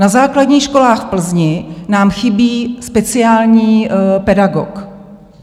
Na základních školách v Plzni nám chybí speciální pedagog.